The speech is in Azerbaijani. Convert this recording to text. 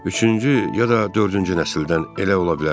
Üçüncü ya da dördüncü nəsildən elə ola bilərəm.